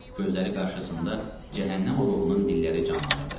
Gözləri qarşısında cəhənnəm alovunun dilləri canlanırdı.